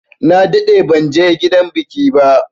Na daɗe banje gidan biki ba.